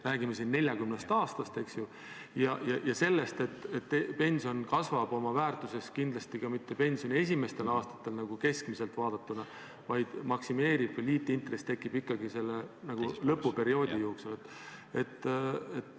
Räägime siin 40 aastast, eks ju, ja sellest, et pensioni väärtus ei kasva kindlasti mitte esimesetel aastatel – nagu keskmiselt vaadatuna –, vaid liitintress tekib ikkagi lõpuperioodi jooksul.